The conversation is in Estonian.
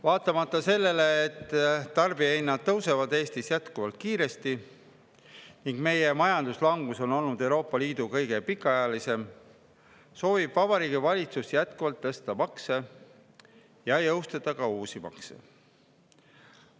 Vaatamata sellele, et tarbijahinnad tõusevad Eestis jätkuvalt kiiresti ning meie majanduslangus on olnud Euroopa Liidu kõige pikaajalisem, soovib Vabariigi Valitsus jätkuvalt tõsta makse ja jõustada ka uusi makse.